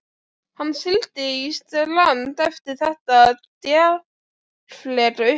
Hann sigldi í strand eftir þetta djarflega upphaf.